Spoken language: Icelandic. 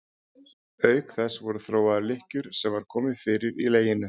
Auk þess voru þróaðar lykkjur sem var komið fyrir í leginu.